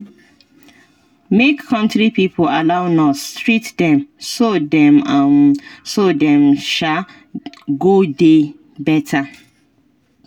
make country pipo allow nurse treat dem so dem um so dem um go dey better